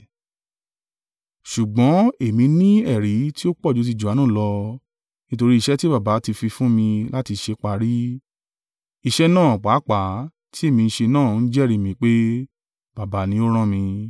“Ṣùgbọ́n èmi ní ẹ̀rí tí ó pọ̀jù ti Johanu lọ. Nítorí iṣẹ́ tí Baba ti fi fún mi láti ṣe parí, iṣẹ́ náà pàápàá tí èmi ń ṣe náà ń jẹ́rìí mi pé, Baba ni ó rán mi.